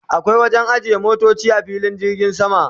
akwai wajen ajiye motoci a filin jirgin sama